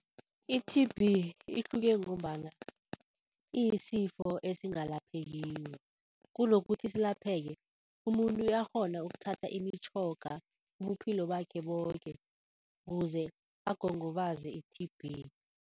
I-T_B ihluke ngombana iyisifo esingalaphekiko. Kunokuthi silapheke umuntu uyakghona ukuthatha imitjhoga ubuphilo bakhe boke ukuze agongobaze i-T_B.